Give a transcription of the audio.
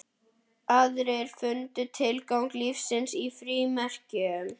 Aðrir fundu tilgang lífsins í frímerkjum.